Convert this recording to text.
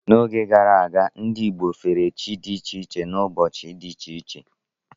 N'oge gara aga, ndị Igbo fere chi dị iche iche n'ụbọchị dị iche iche.